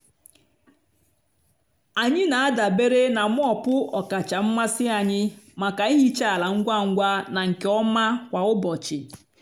anyị na-adabere na mop ọkacha mmasị anyị maka ihicha ala ngwa ngwa na nke ọma kwa ụbọchị.